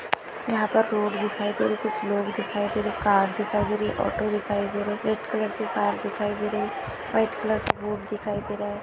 यहा पर रोड दिखाई दे रहे कुछ लोग दिखाई दे रहे कार दिखाई दे रही ऑटो दिखाई दे रही रेड कलर की कार दिखाई दे रही व्हाइट कलर का बोर्ड दिखाई दे रहा है।